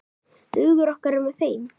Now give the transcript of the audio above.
Hugur okkar er með þeim.